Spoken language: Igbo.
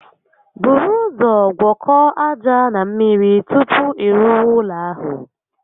Buru ụzọ gwọkọọ aja na mmiri tupu ị rụwa ụlọ ahụ